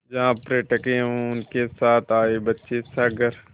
जहाँ पर्यटक एवं उनके साथ आए बच्चे सागर